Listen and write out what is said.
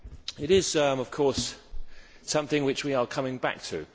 It is, of course, something which we are coming back to.